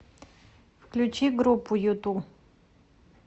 включи группу юту